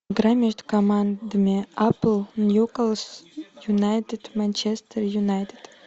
игра между командами апл ньюкасл юнайтед манчестер юнайтед